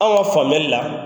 Anw ka faamuyali la